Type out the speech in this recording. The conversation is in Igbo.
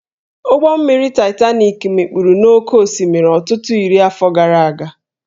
Ụgbọ mmiri Titanik mikpuru n'oké osimiri ọtụtụ iri afọ gara aga